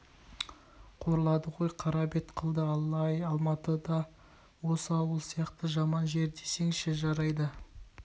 қорлады ғой қара бет қылды алла-ай алматы да осы ауыл сияқты жаман жер десеңші жарайды